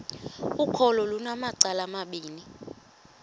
ukholo lunamacala amabini